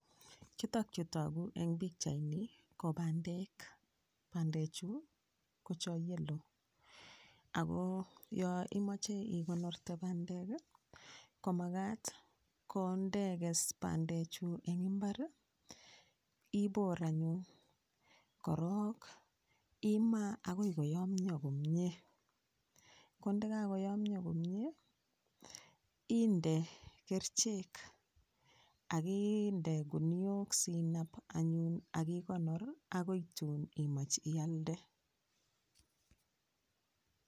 Chutok chu tokuu eng pikchait ni ko bandek. Bandee chuu ko cho yellow ako yo imoche ikonorte bandek komakat kondekes bandechu eng imbar ibor anyun korok imaa agoi koyomyo komyee kondekakoyomyo komyee inde kerchek akinde guniok sinap anyun akikonor akoi tuun imach ialde